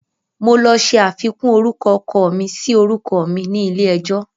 Mo lọ ṣe àfikún orúkọ ọkọ mi sí orúkọ mi ni ilé ẹjọ́